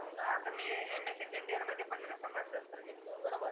आता मी MA second year मध्ये पण ना समाजशस्त्र घेतलाय बरोबर